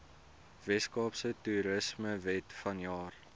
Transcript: weskaapse toerismewet vanjaar